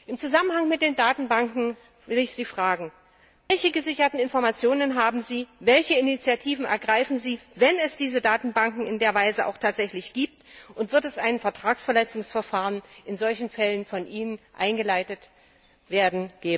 Im Zusammenhang mit den Datenbanken will ich Sie fragen Welche gesicherten Informationen haben Sie, welche Initiativen ergreifen Sie, wenn es diese Datenbanken in der Weise auch tatsächlich gibt, und wird ein Vertragsverletzungsverfahren in solchen Fällen von Ihnen, Frau Reding, eingeleitet werden?